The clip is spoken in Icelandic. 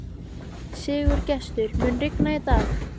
Sigurgestur, mun rigna í dag?